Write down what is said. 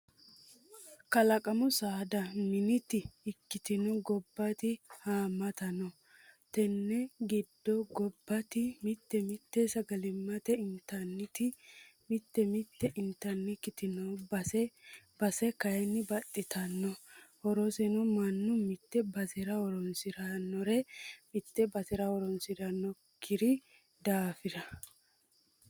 Kalaqamu saada miniti ikkitto gobbati haamata no tene giddo gobbati mite mite sagalimate intanniti mite mite intannikkiti no base base kayinni baxxittano horonsa mannu mite basera horonsiranore mite basera horonsiranokki daafira.